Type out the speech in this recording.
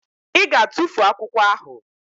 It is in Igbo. Ị ga-atufu akwụkwọ ahụ!